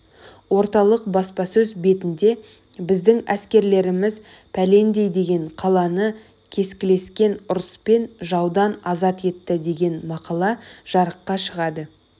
орталық баспасөз бетінде біздің әскерлеріміз пәлендей деген қаланы кескілескен ұрыспен жаудан азат етті деген мақала жарыққа шығады